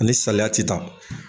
Ani saliya te taa.